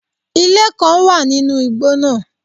Ilé kán wà nínú igbó náà